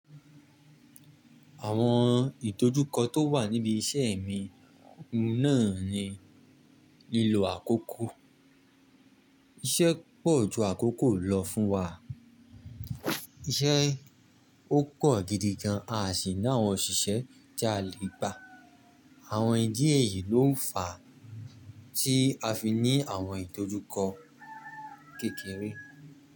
Àwọn ìdojú kọ́ tó wà níbi iṣẹ́ mi náà ni lílo àkókò. Iṣẹ́ pọ̀ ju àkókò lọ fún wa. Iṣẹ́ ó pọ̀ gidi gan, a sì ná àwọn òṣìṣẹ́ tiá lè gbà. Àwọn ìdí èyí ló ń fà tí a fi ní àwọn ìdojú kọ kékeré.